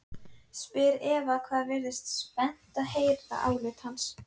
spyr Eva og virðist spennt að heyra álit hans.